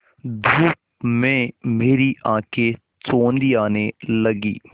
धूप में मेरी आँखें चौंधियाने लगीं